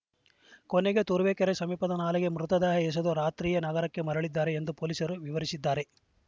ಕೊನೆಗೆ ತುರುವೇಕೆರೆ ಸಮೀಪದ ನಾಲೆಗೆ ಮೃತದೇಹ ಎಸೆದು ರಾತ್ರಿಯೇ ನಗರಕ್ಕೆ ಮರಳಿದ್ದರು ಎಂದು ಪೊಲೀಸರು ವಿವರಿಸಿದ್ದಾರೆ